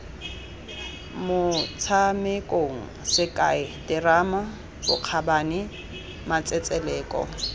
motshamekong sekai terama bokgabane matsetseleko